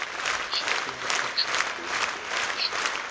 tshifhinga itsho hune u ṅwaliswa